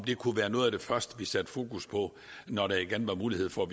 det kunne være noget af det første vi sætter fokus på når der igen bliver mulighed for